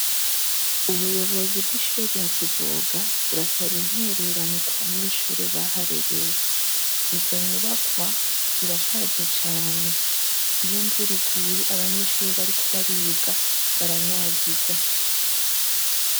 Ubuyobozi bw’ishure rya kivuga burasaba intererano ku banyeshure baharerewe. Izo nyubakwa zirashaje cane, iyo imvura iguye abanyeshure bariko bariga baranyagigwa.